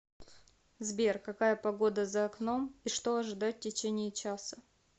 сбер какая погода за окном и что ожидать в течение часа